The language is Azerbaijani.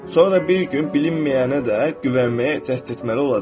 Sonra bir gün bilinməyənə də güvənməyə cəhd etməli olacaq.